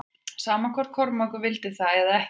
Sama hvort Kormákur vildi það eða ekki.